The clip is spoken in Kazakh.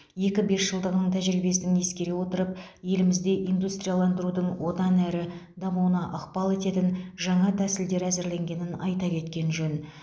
екі бесжылдығының тәжірибесін ескере отырып елімізде индустрияландырудың одан әрі дамуына ықпал ететін жаңа тәсілдер әзірленгенін айта кеткен жөн